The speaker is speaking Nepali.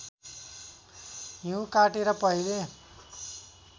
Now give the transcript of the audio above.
हिउँ काटेर पहिले